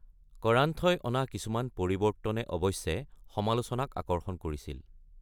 কৰান্থই অনা কিছুমান পৰিৱৰ্তনে অৱশ্যে সমালোচনাক আকৰ্ষণ কৰিছিল।